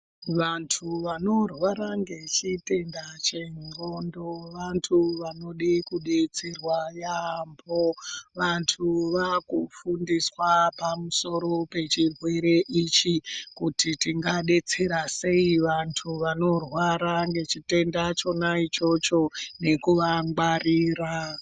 Vantu vanorwara ngechitenda cheqxondo vantu vanode kudetserwa yaamho. Vantu vaaku fundiswa pamusoro pechirwere ichi kuti tinga detsera sei vantu vanorwara ngechitenda chona ichocho nekuva ngwarira.